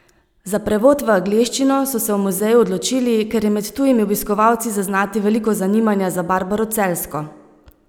Za prevod v angleščino so se v muzeju odločili, ker je med tujimi obiskovalci zaznati veliko zanimanja za Barbaro Celjsko.